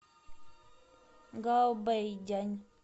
гаобэйдянь